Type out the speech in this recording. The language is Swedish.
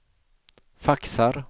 faxar